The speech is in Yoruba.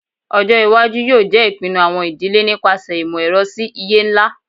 Ọjọ iwaju yoo jẹ ipinnu awọn idile nipasẹ imọ-ẹrọ si iye nla